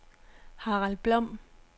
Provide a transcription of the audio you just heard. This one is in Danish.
Harald Blom